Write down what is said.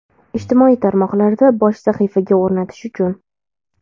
Ijtimoiy tarmoqlarda bosh sahifaga o‘rnatish uchun.